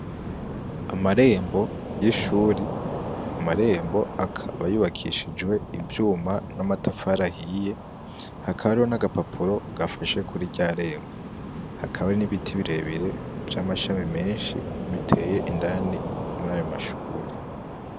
Amarembo y'ishuri ayo marembo akaba yubakishijwe ivyuma n'amatafari ahiye hakaba hariyo n'agapapuro gafashe kuri rya rembo hakaba hari n'ibiti birebire vy'amashami menshi biteye indani muri ayo mashuri.